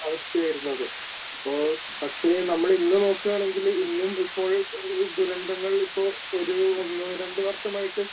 അവസ്ഥയായിരുന്നു അത്. അപ്പൊ പക്ഷേ നമ്മള് ഇന്ന് നോക്കുവാണെങ്കില് ഇന്നും ഇപ്പോൾ ദുരന്തങ്ങൾ ഇപ്പോൾ ഒരു ഒന്നു രണ്ട് വർഷമായിട്ട്